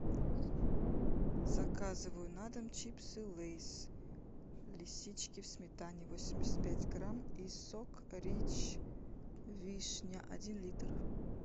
заказываю на дом чипсы лейс лисички в сметане восемьдесят пять грамм и сок рич вишня один литр